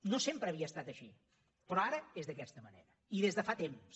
no sempre havia estat així però ara és d’aquesta manera i des de fa temps